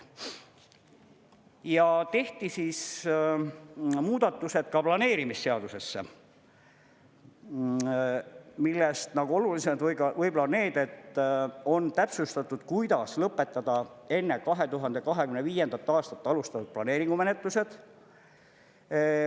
Ja tehti muudatused ka planeerimisseadusesse, millest olulised on võib-olla need, et on täpsustatud, kuidas lõpetada enne 2025. aastat alustatud planeeringumenetlused.